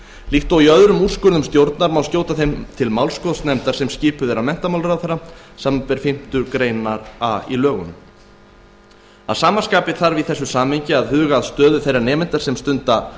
líkt og öðrum úrskurðum stjórnar má skjóta þeim til málskotsnefndar sem skipuð er af menntamálaráðherra samanber fimmtu grein a í lögunum að sama skapi þarf í þessu samhengi að huga að stöðu þeirra nemenda sem stunda